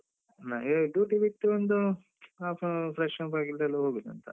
ನನ್ಗೆ duty ಬಿಟ್ಟು ಒಂದು half an hour fresh up ಆಗಿದ್ಮೇಲೆ ಹೋಗುದಂತ.